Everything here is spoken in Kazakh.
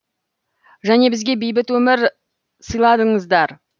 және бізге бейбіт өмір сыйладыңыздар